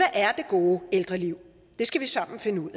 er det gode ældreliv det skal vi sammen finde ud